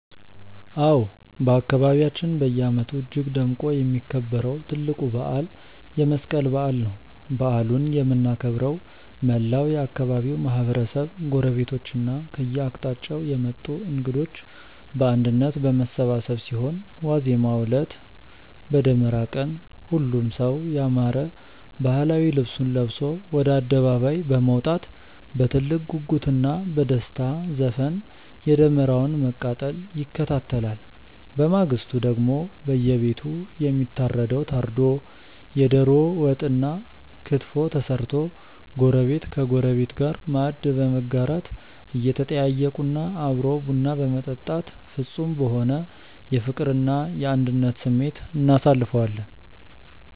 አዎ፣ በአካባቢያችን በየዓመቱ እጅግ ደምቆ የሚከበረው ትልቁ በዓል የመስቀል በዓል ነው። በዓሉን የምናከብረው መላው የአካባቢው ማህበረሰብ፣ ጎረቤቶችና ከየአቅጣጫው የመጡ እንግዶች በአንድነት በመሰባሰብ ሲሆን፣ ዋዜማው ዕለት (በደመራ ቀን) ሁሉም ሰው ያማረ ባህላዊ ልብሱን ለብሶ ወደ አደባባይ በመውጣት በትልቅ ጉጉትና በደስታ ዘፈን የደመራውን መቃጠል ይከታተላል። በማግስቱ ደግሞ በየቤቱ የሚታረደው ታርዶ፣ የደሮ ወጥና ክትፎ ተሰርቶ ጎረቤት ከጎረቤት ጋር ማዕድ በመጋራት፣ እየተጠያየቁና አብሮ ቡና በመጠጣት ፍጹም በሆነ የፍቅርና የአንድነት ስሜት እናሳልፈዋለን።